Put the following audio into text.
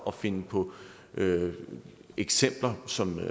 at finde på eksempler som